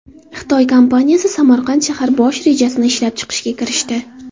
Xitoy kompaniyasi Samarqand shahar bosh rejasini ishlab chiqishga kirishdi.